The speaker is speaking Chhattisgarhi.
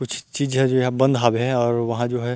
कुछ चीज़ हे जे हा बंद हावे हे और वहाँ जो है।